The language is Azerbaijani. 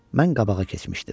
Mən qabağa keçmişdim.